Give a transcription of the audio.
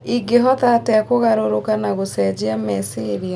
Ingĩhota atĩa kũgarũrũka na gũcenjia meciria?